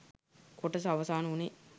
කොටස අවසාන වුණේ.